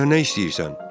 Məndən nə istəyirsən?